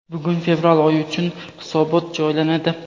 Bugun fevral oyi uchun hisobot joylanadi.